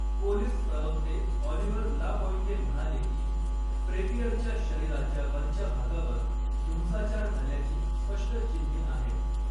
Police प्रवक्ते Oliver Lapointe म्हणाले की, फ्रेपियरच्या शरीराच्या वरच्या भागावर हिंसाचार झाल्याची स्पष्ट चिन्हे आहेत.